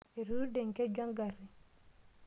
Etuude enkeju engari.